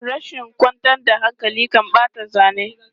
Rashin kwantar da hankali kan ɓata aikin zane.